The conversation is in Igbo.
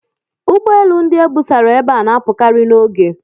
Ụgbọ elu ndị e busara ebe a na-apụkarị n'oge.